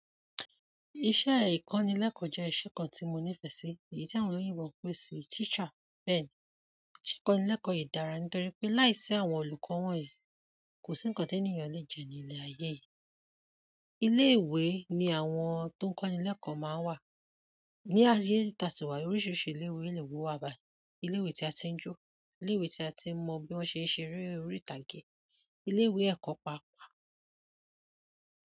Iṣẹ́ ìkọ́nilẹ́kọ̀ọ́ jẹ́ iṣẹ́ kan tí mo nífẹ̀ẹ́ sí, èyí tí àwọn olóyinbo ń pé sì teacher. Bẹ́ẹ̀ni, iṣẹ́ ìkọ́nilẹ́kọ̀ọ́ yìí dára nítorí pé láìsí àwọn olùkọ́ wọ̀nyí kò sí ńǹkan tènìyàn lè jẹ ní ilẹ̀ ayé yìí. Ilé ìwé ni àwọn tó ń kọ́nilẹ́kọ̀ọ́ máa ń wà. Ni ayé i tasi wa yi oríṣiríṣi ilé ìwé lè wù wá báyìí. Ilé ìwé tí a ti ń jó, ilé ìwé tí a ti n mọ bí wọ́n ṣe ń ṣe eré orí ìtàgé, ilé ìwé ẹ̀kọ́ paapa.